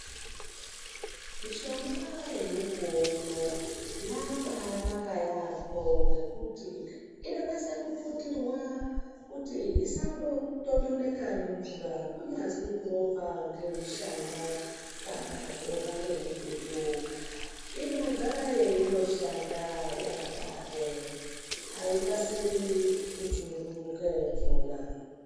Mishonga yemukuwo uno yabaanaka yaambo ngekuti inonase kuputirwa kuti isambotondoneka nemvura kunyazwi kurohwa ngemushana kana kurohwa ngemututu inogara yeindoshanda yakadaro. Haikasiri kuchururuke mvura.